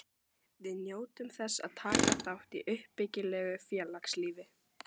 Við njótum þess að taka þátt í uppbyggilegu félagslífi.